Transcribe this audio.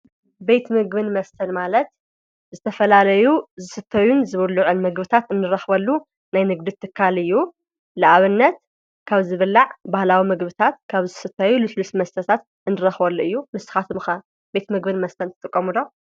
ቤት ምግብን መስተን ማለት ዝተፈላለዩ ዝስተዩን ዝብሉዑን ምግቢታት እንረክበሉ ናይ ንግዲ ትካል እዩ፡፡ ንኣብነት ካብ ዝብላዕ ባህላዊ ምግብታት ካብ ዝስተዩ ሉስሉስ መስተታት እንረክበሉ እዩ፡፡ ንስካትኩም ከ ቤትምግብን መስተ ትጥቀሙ ዶ?